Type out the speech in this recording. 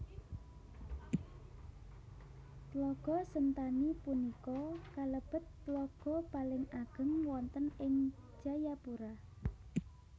Tlaga Sentani punika kalebet tlaga paling ageng wonten ing Jayapura